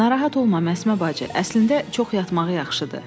Narahat olma Məsmə bacı, əslində çox yatmağı yaxşıdır.